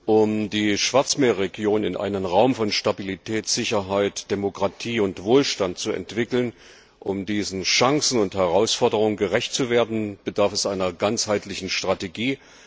Um die Schwarzmeerregion in einen Raum von Stabilität, Sicherheit, Demokratie und Wohlstand zu entwickeln, um diesen Chancen und Herausforderungen gerecht zu werden, bedarf einer ganzheitlichen Strategie.